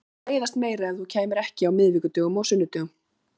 Mér mundi leiðast meira ef þú kæmir ekki á miðvikudögum og sunnudögum.